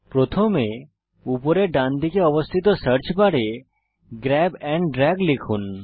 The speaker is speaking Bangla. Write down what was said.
প্রথমে উপরের ডানদিকে অবস্থিত search bar grab and drag লিখুন